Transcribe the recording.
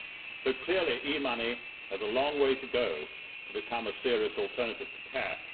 So, clearly, e money has a long way to go to become a serious alternative to cash.